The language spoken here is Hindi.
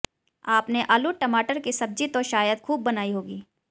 आपने आलू टमाटर की सब्जी तो शायद खूब बनाई होगी